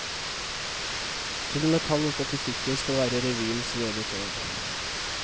Tull med tall og statistikker skal være revyens røde tråd.